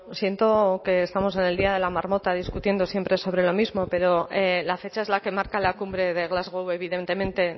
siento que estamos en el día de la marmota discutiendo siempre sobre lo mismo pero la fecha es la que marca la cumbre de glasgow evidentemente